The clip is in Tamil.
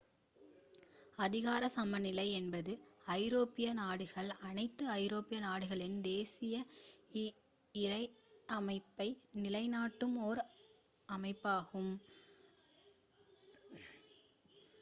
அதிகாரச் சமநிலை என்பது ஐரோப்பிய நாடுகள் அனைத்து ஐரோப்பிய நாடுகளின் தேசிய இறையாண்மையை நிலைநாட்டும் ஒரு அமைப்பாகும்